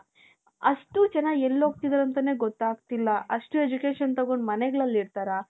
ಅಷ್ಟೂ ಜನ ಎಲ್ಲೋಗ್ತಿದ್ದಾರೋ ಅಂತಾನೆ ಗೊತ್ತಾಗ್ತಿಲ್ಲಾ. ಅಷ್ಟು education ತಗೊಂಡ್ ಮನೆಗಳಲ್ಲಿ ಇರ್ತಾರ ?